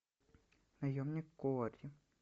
наемник куорри